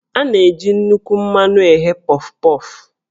A na-eji nnukwu mmanụ eghe Pọf-Pọf